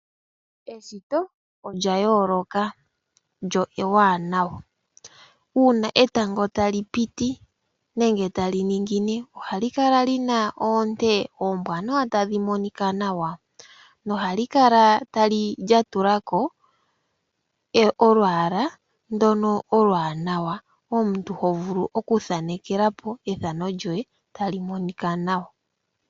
Eshito olya yooloka lyo ewanawa. Uuna etango ta li piti nenge ta li ningine, oha li kala lina oonte oombwanawa tadhi monika nawa. No ha li kala lya tula ko olwaala ndono oluwanawa. Omuntu jo vulu okuthanekela po ethano lyoye tali monika nawa.